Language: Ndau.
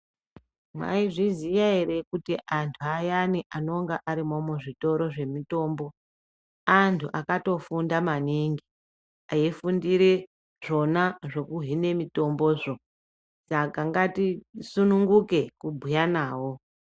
Maizviziya ere kuti, antu ayani anonga ari muzvitoro zvemutombo, antu akatofunda maningi, eifundire zvona zvekuhina mitombozvo. Saka ngatisununguke kubhuya navo